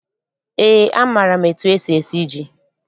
Eé, amaara m etu esi esi ji.